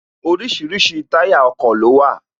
Orísirísi táyà ọkọ̀ ló wà